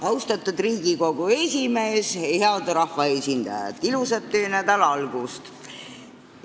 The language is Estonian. Austatud Riigikogu esimees ja head rahvaesindajad, ilusat töönädala algust!